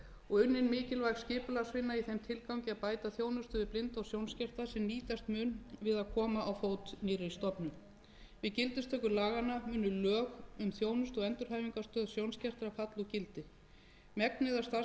og unnin mikilvæg skipulagsvinna í þeim tilgangi að bæta þjónustu við blinda og sjónskerta sem nýtast mun við að koma á fót nýrri stofnun við gildistöku laganna munu lög um þjónustu og endurhæfingarstöð sjónskertra falla úr gildi megnið af starfsemi þeirrar stofnunar rennur